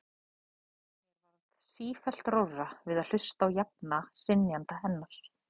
Mér varð sífellt rórra við að hlusta á jafna hrynjandi hennar.